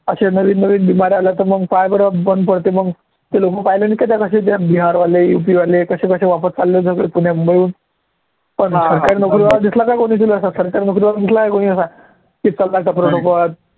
असे नवीन नवीन आल्या तर पाह्य बरं मग बंद पडते मग ते लोकं पाहिले नाही का कसे ते बिहारवाले UP वाले कसे कसे वापस चालले होते पुण्या, मुंबईहून पण सरकारी नोकरी वाला दिसला कोणी तुला सरकारी नोकरी वाला दिसला कोणी असा की सरकारचा